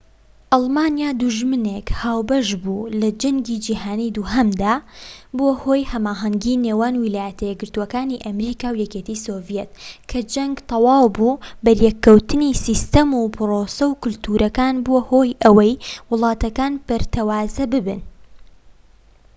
ئەڵمانیا دوژمنێک هاوبەش بوو لە جەنگی جیهانیی دووهەمدا بووە هۆی هەماهەنگی نێوان ویلایەتە یەکگرتوەکانی ئەمریکا و یەکێتی سۆڤیەت کە جەنگ تەواو بوو بەریەککەوتنی سیستەم و پرۆسە و کەلتورەکان بووە هۆی ئەوەی وڵاتەکان پەرتەوازە ببن